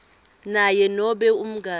naye nobe umngani